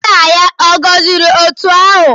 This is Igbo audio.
Nna ya ọ̀ gọziri otu ha ahụ?